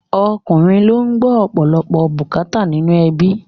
Ọkùnrin ló ń gbọ́ ọ̀pọ̀lọpọ̀ bùkátà nínú ẹbí